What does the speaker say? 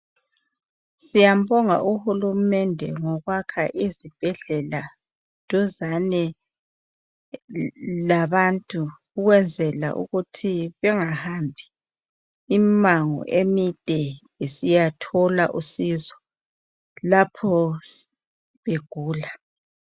Siyambonga uhulumende ngokwakha izibhedlela duzane labantu ukwenzela ukuthi bengahambi imango emide besiya thola usizo lapho begula.